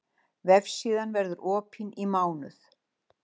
Vefsíðan verður opin í mánuð